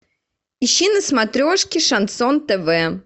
ищи на смотрешке шансон тв